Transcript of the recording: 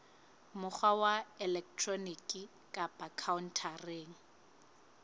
mokgwa wa elektroniki kapa khaontareng